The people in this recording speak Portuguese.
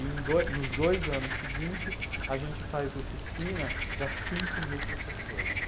Em do, nos dois anos seguintes, a gente faz oficina para cinco mil professores.